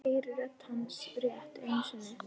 Heyri rödd hans rétt einu sinni.